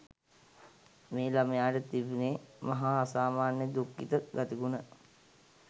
මේ ළමයාට තිබුණේ් මහා අසාමාන්‍ය දුක්ඛිත ගතිගුණ.